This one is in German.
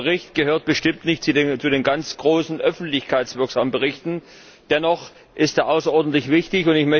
Dieser Bericht gehört bestimmt nicht zu den ganz großen, öffentlichkeitswirksamen Berichten, dennoch ist er außerordentlich wichtig.